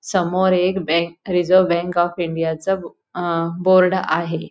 समोर एक bank reserve bank of इंडियाच अह बोर्ड आहे.